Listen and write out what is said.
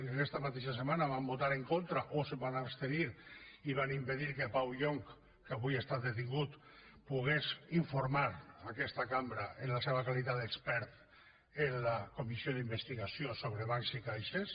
que aquesta mateixa setmana van votar en contra o es van abstenir i van impedir que pau llonch que avui ha estat detingut pogués informar aquesta cambra en la seva qualitat d’expert en la comissió d’investigació sobre bancs i caixes